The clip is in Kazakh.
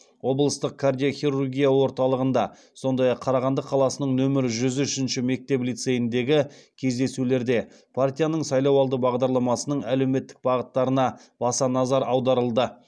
облыстық кардиохирургия орталығында сондай ақ қарағанды қаласының нөмірі жүз ұшінші мектеп лицейіндегі кездесулерде партияның сайлауалды бағдарламасының әлеуметтік бағыттарына баса назар аударылды